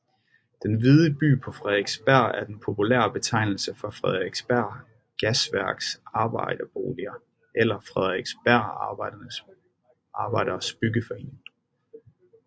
Den hvide by på Frederiksberg er den populære betegnelse for Frederiksberg Gasværks Arbejderboliger eller Frederiksberg Arbejderes Byggeforening